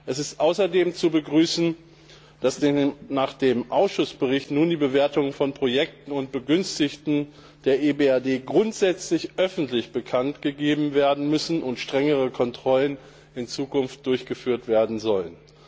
Es ist außerdem zu begrüßen, dass nach dem Ausschussbericht nun die Bewertung von Projekten und Begünstigten der EBRD grundsätzlich öffentlich bekanntgegeben werden müssen und in Zukunft strengere Kontrollen durchgeführt werden sollen.